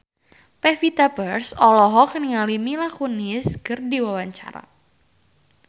Pevita Pearce olohok ningali Mila Kunis keur diwawancara